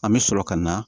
An bɛ sɔrɔ ka na